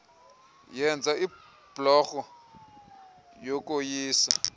yenza ibhlorho yokoyisa